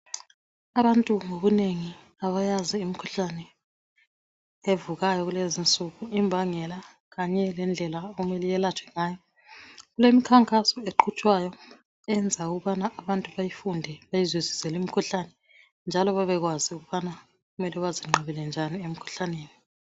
Abantu ngobunengi abayazi imikhuhlane evukayo kulezi nsuku imbangela kanye lendlela okumele iyelatshwe ngayo kulemikhankaso eqhutshwayo eyenza ukubana abantu bayifunde beyizwisise limkhuhlane njalo babekwazi ukubana kumele bazinqabele njani emkhuhlaneni.